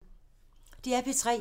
DR P3